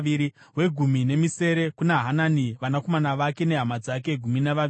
wegumi nemisere kuna Hanani, vanakomana vake nehama dzake—gumi navaviri;